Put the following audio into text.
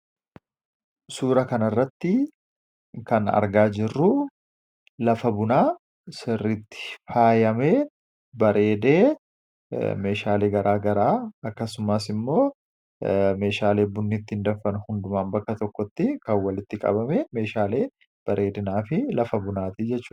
Suuraa kanarratti kan argaa jirru lafa bunaa sirriitti faayamee bareedee meeshaalee garaagaraa akkasumas immoo meeshaalee bunni ittiin danfan hundumaa kan bakka tokkotti kan walitti qabamee jiruu fi lafa bunaati jechuudha.